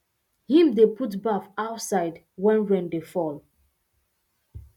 him dey put baff outside when rain dey fall